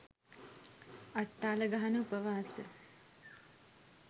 අට්ටාල ගහන උපවාස